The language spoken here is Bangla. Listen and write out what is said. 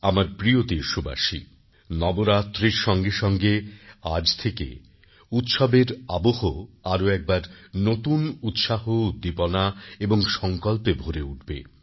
আমার প্রিয় দেশবাসী নবরাত্রির সঙ্গে সঙ্গে আজ থেকে উৎসবের আবহ আরও একবার নতুন উৎসাহ উদ্দীপনা এবং সংকল্পে ভরে উঠবে